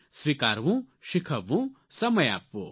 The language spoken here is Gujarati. સ્વીકારવું શીખવવું સમય આપવો